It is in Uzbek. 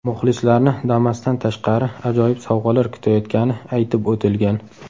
Muxlislarni Damas’dan tashqari ajoyib sovg‘alar kutayotgani aytib o‘tilgan.